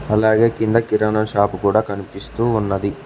అలాగే కింద కిరాణా షాపు కూడా కనిపిస్తూ ఉన్నది.